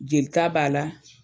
Jelita b'a la